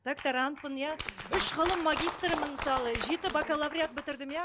докторантпын иә үш ғылым магистрімін мысалы жеті бакалавриат бітірдім иә